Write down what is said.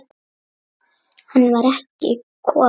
Hann var ekki kominn.